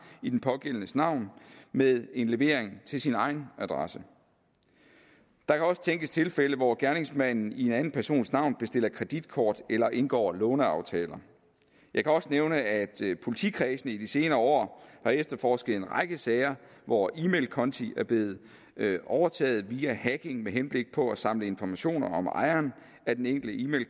i den pågældendes navn med en levering til sin egen adresse der kan også tænkes tilfælde hvor gerningsmanden i en anden persons navn bestiller kreditkort eller indgår låneaftaler jeg kan også nævne at politikredsene i de senere år har efterforsket en række sager hvor e mail konti er blevet overtaget via hacking med henblik på at samle informationer om ejeren af den enkelte e mail